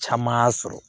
Caman y'a sɔrɔ